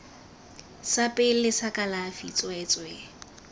sa pele sa kalafi tsweetswee